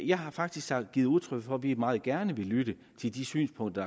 jeg har faktisk givet udtryk for at vi meget gerne vil lytte til de synspunkter